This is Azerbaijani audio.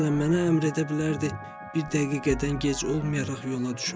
Məsələn, mənə əmr edə bilərdi, bir dəqiqədən gec olmayaraq yola düşüm.